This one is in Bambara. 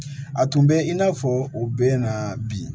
A tun bɛ in n'a fɔ o bɛ ɲɛna bi